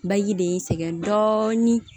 Baji de y'i sɛgɛn dɔɔnin